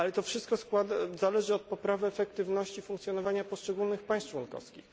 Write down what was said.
Ale to wszystko zależy od poprawy efektywności funkcjonowania poszczególnych państw członkowskich.